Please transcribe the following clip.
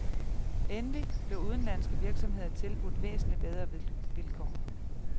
Endelig blev udenlandske virksomheder tilbudt væsentligt bedre vilkår.